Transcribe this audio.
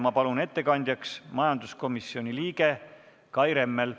Ma palun ettekandjaks majanduskomisjoni liikme Kai Rimmeli.